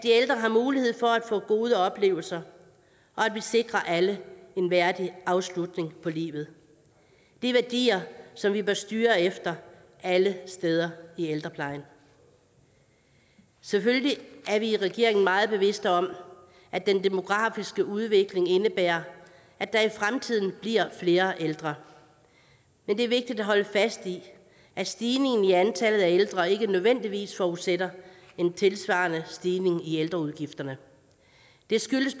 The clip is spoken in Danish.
få gode oplevelser og at vi sikrer alle en værdig afslutning på livet det er værdier som vi bør styre efter alle steder i ældreplejen selvfølgelig er vi i regeringen meget bevidst om at den demografiske udvikling indebærer at der i fremtiden bliver flere ældre men det er vigtigt at holde fast i at stigningen i antallet af ældre ikke nødvendigvis forudsætter en tilsvarende stigning i ældreudgifterne det skyldes